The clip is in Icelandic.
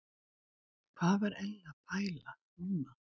Hvað var Elli að pæla núna?